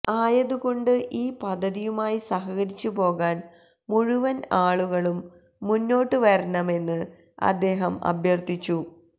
ആയതുകൊണ്ട് ഈ പദ്ധതിയുമായി സഹകരിച്ചുപോകാന് മുഴുവന് ആളുകളും മുന്നോട്ടുവരണമെന്ന് അദ്ദേഹം അഭ്യര്ത്ഥിച്ചു